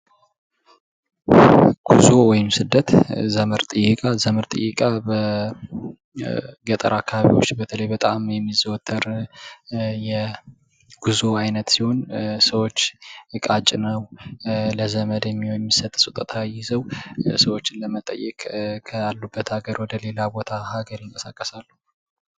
ጉዞ ወይም ስደት ዘመድ ጥያቀ፤ ዘመድ ጥየቃ በገጠር አካባቢዎች በተለይ በጣም የሚዘወትር የጉዞ ዓይነት ሲሆን ሰዎች እቃ ጭነው ለዘመድ የሚሆን የሚሰጥ ስጦታ ይዘው ሰዎች ለመጠየቅ ካሉበት ሀገር ወደ ሌላ ቦታ ሀገር ይንቀሳቀሳሉ።